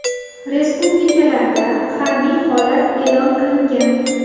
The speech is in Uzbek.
Respublikalarda harbiy holat e’lon qilingan.